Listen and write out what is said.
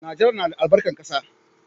Najeriya na da albarkar ƙasa